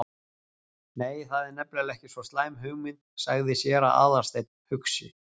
Nei, það er nefnilega ekki svo slæm hugmynd- sagði séra Aðalsteinn hugsi.